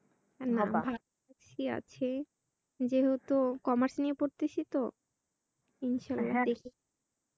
না ঠিকই আছে। যেহেতু commerce নিয়ে পড়তেছিতো ইনশাল্লাহ দেখি